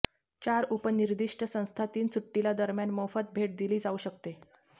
चार उपरिनिर्दिष्ट संस्था तीन सुट्टीला दरम्यान मोफत भेट दिली जाऊ शकते